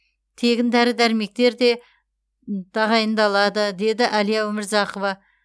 тегін дәрі дәрмектер де тағайындалады деді әлия өмірзақова